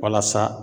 Walasa